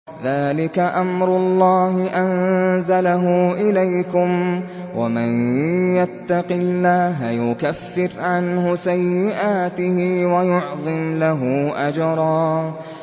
ذَٰلِكَ أَمْرُ اللَّهِ أَنزَلَهُ إِلَيْكُمْ ۚ وَمَن يَتَّقِ اللَّهَ يُكَفِّرْ عَنْهُ سَيِّئَاتِهِ وَيُعْظِمْ لَهُ أَجْرًا